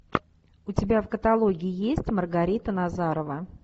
у тебя в каталоге есть маргарита назарова